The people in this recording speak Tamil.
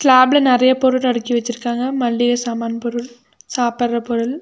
ஸ்லாப்ல நெறைய பொருள் அடிக்கி வச்சிருக்காங்க மல்லிக சாமான் பொருள் சாப்ற பொருள்.